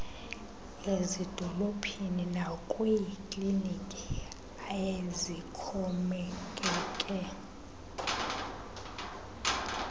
ezidolophini nakwiikliniki ezixhomekeke